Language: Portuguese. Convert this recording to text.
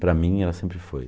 Para mim ela sempre foi.